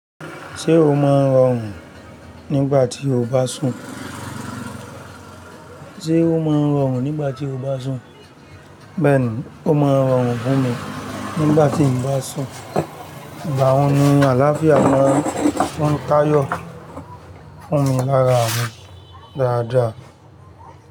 Ṣé o máa ń rọrùn nígbà tí o bá sùn? Ṣé o máa ń rọrùn nígbà tí o bá sùn? Bẹ́ẹ̀ni, ó máa ń rọrùn fún mi nígbà tí n bá sùn, ìgbà wo ni àlàáfíà máa ń tà yọ fún mi lára mi dáadáa?